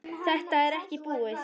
Þetta er ekkert búið.